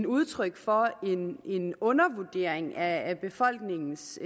udtryk for en undervurdering af befolkningens